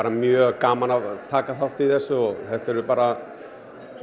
mjög gaman að taka þátt í þessu og þetta eru bara